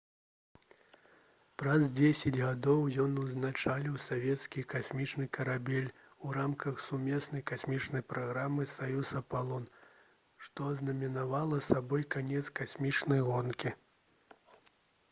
праз дзесяць гадоў ён узначаліў савецкі касмічны карабель у рамках сумеснай касмічнай праграмы «саюз-апалон» што азнаменавала сабой канец касмічнай гонкі